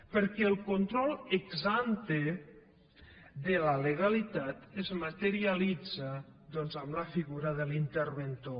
perquè el control ex ante de la legalitat es materialitza doncs en la figura de l’interventor